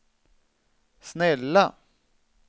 snälla